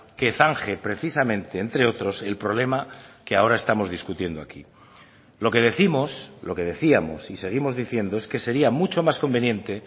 que zanje precisamente entre otros el problema que ahora estamos discutiendo aquí lo que décimos lo que decíamos y seguimos diciendo es que sería mucho más conveniente